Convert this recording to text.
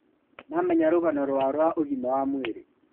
Mamenya rũgano rwao rwa ũgima wa mwĩrĩ